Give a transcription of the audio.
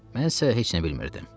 Mən isə heç nə bilmirdim.